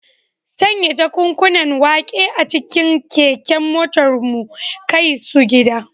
Sanya jakunkunan wake a cikin keken motar mu kai su gida.